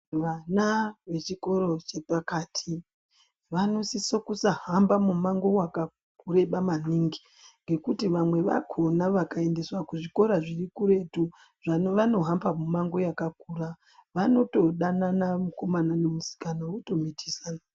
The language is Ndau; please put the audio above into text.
Vana vechikoro chepakati vanosiso kusahamba mumango yakareba maningi ngekuti vamwe vakona vakaendeswa kuzvikoro zvirikuretu zvavanohamba mimango yakakura vanotodanana mukomana nemusikana votomitisana.